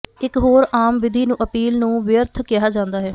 ਇਕ ਹੋਰ ਆਮ ਵਿਧੀ ਨੂੰ ਅਪੀਲ ਨੂੰ ਵਿਅਰਥ ਕਿਹਾ ਜਾਂਦਾ ਹੈ